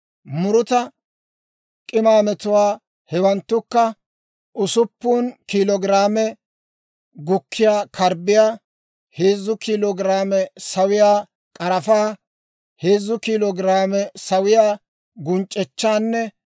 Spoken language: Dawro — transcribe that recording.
«Muruta k'imaametuwaa, hewanttukka, usuppun kiilo giraame gukkiyaa karbbiyaa, heezzu kiilo giraame sawiyaa k'arafaa, heezzu kiilo giraame sawiyaa gunc'echchaanne